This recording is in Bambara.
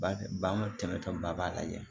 Ba an ka tɛmɛ tɔbaliya